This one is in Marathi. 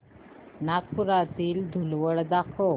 नागपुरातील धूलवड दाखव